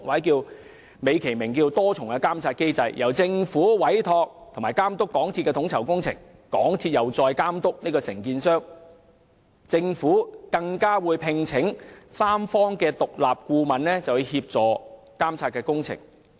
在美其名的多重監察機制下，政府委託並監督港鐵公司統籌工程，港鐵公司再監督承建商，政府更會聘請第三方獨立顧問協助監察工程。